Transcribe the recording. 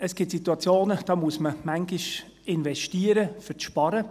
Es gibt Situationen, da muss man manchmal investieren, um zu sparen.